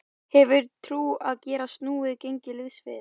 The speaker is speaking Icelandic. Hefurðu trú á að geta snúið gengi liðsins við?